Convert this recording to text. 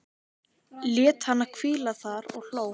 Lét hana hvíla þar og hló.